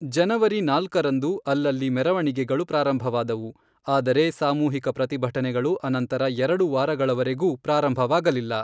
ಜನವರಿ ನಾಲ್ಕರಂದು, ಅಲ್ಲಲ್ಲಿ ಮೆರವಣಿಗೆಗಳು ಪ್ರಾರಂಭವಾದವು, ಆದರೆ ಸಾಮೂಹಿಕ ಪ್ರತಿಭಟನೆಗಳು ಅನಂತರ ಎರಡು ವಾರಗಳವರೆಗೂ ಪ್ರಾರಂಭವಾಗಲಿಲ್ಲ.